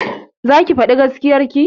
Zaki faɗi gaskiya ki?